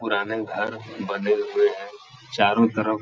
पुराने घर बने हुए हैं चारों तरफ --